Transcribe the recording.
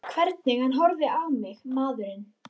Hvernig hann horfði á mig, maðurinn!